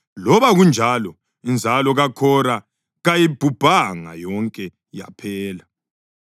Loba kunjalo, inzalo kaKhora kayibhubhanga yonke, yaphela.